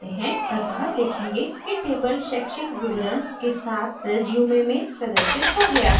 अतः देखेंगे कि table शैक्षिक विवरण के साथ रिज्यूमे में प्रदर्शित हो गया है